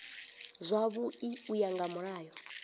zwavhui u ya nga mulayo